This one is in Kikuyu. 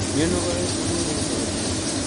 Nĩũnogorete mwĩrĩ ũmũthĩ?